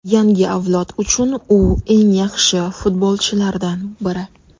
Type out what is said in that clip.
Yangi avlod uchun u eng yaxshi futbolchilardan biri.